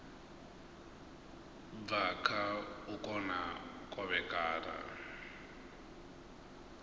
bva kha u kona kovhekana